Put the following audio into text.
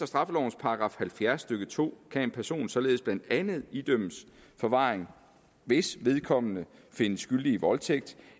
straffelovens § halvfjerds stykke to kan en person således blandt andet idømmes forvaring hvis vedkommende findes skyldig i voldtægt